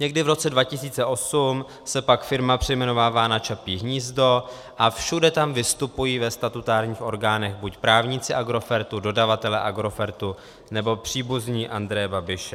Někdy v roce 2008 se pak firma přejmenovává na Čapí hnízdo a všude tam vystupují ve statutárních orgánech buď právníci Agrofertu, dodavatelé Agrofertu, nebo příbuzní Andreje Babiše.